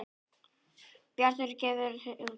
Bjartur gefur út.